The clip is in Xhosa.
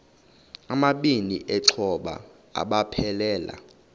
amabini exhobe aphelela